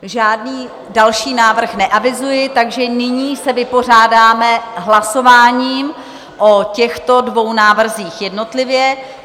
Žádný další návrh neavizuji, takže nyní se vypořádáme hlasováním o těchto dvou návrzích jednotlivě.